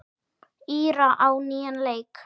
Íra á nýjan leik.